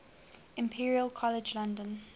imperial college london